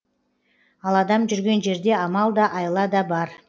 ал адам жүрген жерде амал да айла да бар